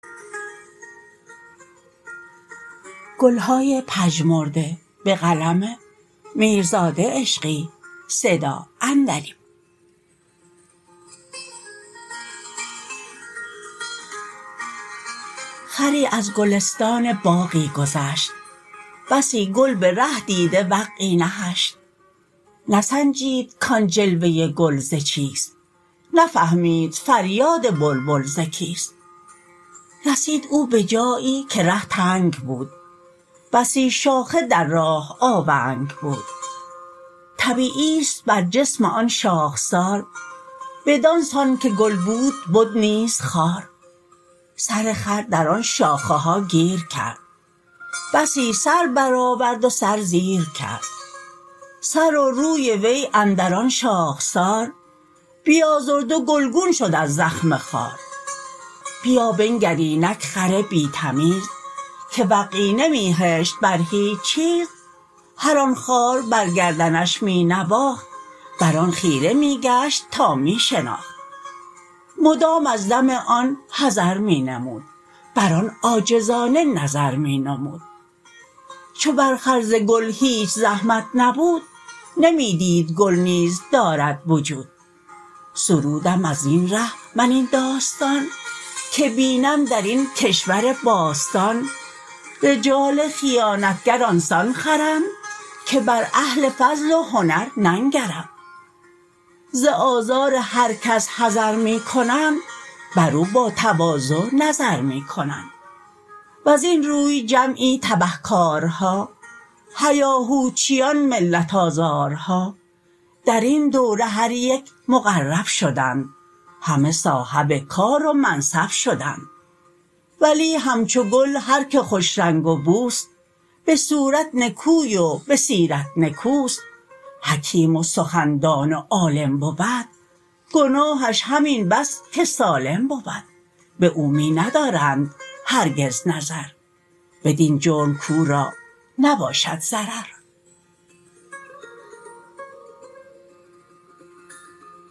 خری از گلستان باغی گذشت بسی گل به ره دیده وقعی نهشت نسنجید کآن جلوه گل ز چیست نفهمید فریاد بلبل ز کیست رسید او به جایی که ره تنگ بود بسی شاخه در راه آونگ بود طبیعی است بر جسم آن شاخسار بدانسان که گل بود بد نیز خار سر خر در آن شاخه ها گیر کرد بسی سر برآورد و سر زیر کرد سر و روی وی اندر آن شاخسار بیازرد و گلگون شد از زخم خار بیا بنگر اینک خر بی تمیز که وقعی نمی هشت بر هیچ چیز هر آن خار بر گردنش می نواخت بر آن خیره می گشت تا می شناخت مدام از دم آن حذر می نمود بر آن عاجزانه نظر می نمود چو بر خر ز گل هیچ زحمت نبود نمی دید گل نیز دارد وجود سرودم از این ره من این داستان که بینم در این کشور باستان رجال خیانتگر آنسان خرند که بر اهل فضل و هنر ننگرند ز آزار هر کس حذر می کنند بر او با تواضع نظر می کنند وزین روی جمعی تبه کارها هیاهوچیان ملت آزارها در این دوره هر یک مقرب شدند همه صاحب کار و منصب شدند ولی همچو گل هر که خوشرنگ و بوست به صورت نکوی و به سیرت نکوست حکیم و سخندان و عالم بود گناهش همین بس که سالم بود به او می ندارند هرگز نظر بدین جرم کورا نباشد ضرر